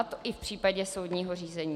A to i v případě soudního řízení.